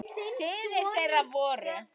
Synir þeirra voru